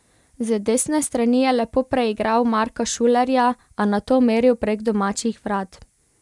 Z desne strani je lepo preigral Marka Šulerja, a nato meril prek domačih vrat.